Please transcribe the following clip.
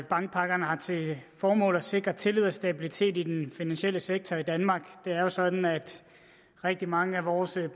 bankpakkerne har til formål at sikre tillid og stabilitet i den finansielle sektor i danmark det er jo sådan at rigtig mange af vores